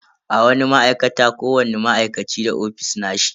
A wani ma'aikata, kowani ma'aikaci da ofis nashi.